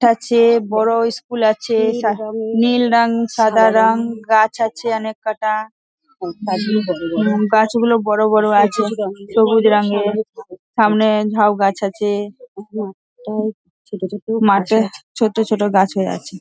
তার চেয়ে বড় স্কুল আছে নীল রঙ সাদা রং গাছ আছে অনেক কটা গাছ গুলো বড় বড় আছে সবুজ রঙের সামনে ঝাও গাছ আছে মাঠে ছোট ছোট গাছ হয়ে আছে ।